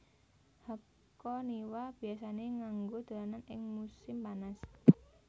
Hakoniwa biasane nganggo dolanan ing musin panas